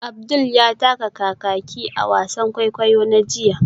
Abdul ya taka kakaki a wasan kwaikwayo na jiya